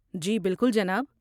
جی بالکل، جناب۔